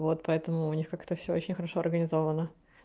вот поэтому у них как-то все очень хорошо организовано